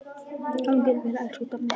Gangi þér vel, elsku Dammi.